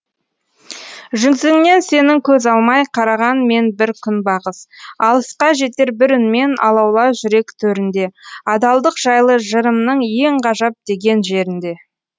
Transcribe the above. жүзіңнен сенің көз алмай қараған мен бір күнбағыс алысқа жетер бір үнмен алаула жүрек төрінде адалдық жайлы жырымның ең ғажап деген жерінде